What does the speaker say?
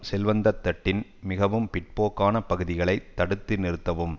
செல்வந்தத்தட்டின் மிகவும் பிற்போக்கான பகுதிகளை தடுத்து நிறுத்தவும்